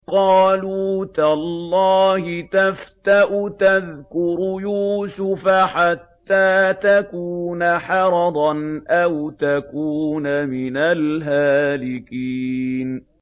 قَالُوا تَاللَّهِ تَفْتَأُ تَذْكُرُ يُوسُفَ حَتَّىٰ تَكُونَ حَرَضًا أَوْ تَكُونَ مِنَ الْهَالِكِينَ